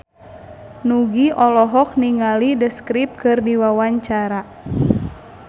Nugie olohok ningali The Script keur diwawancara